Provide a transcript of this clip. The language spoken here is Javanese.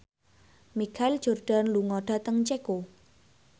Michael Jordan lunga dhateng Ceko